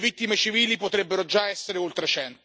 Le vittime civili potrebbero già essere oltre